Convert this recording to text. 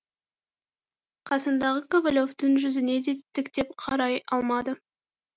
қасындағы ковалевтің жүзіне де тіктеп қарай алмады